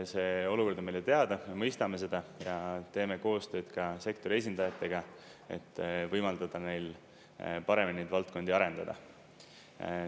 See olukord on meile teada, me mõistame seda ja teeme koostööd ka sektori esindajatega, et võimaldada neil paremini neid valdkondi arendada.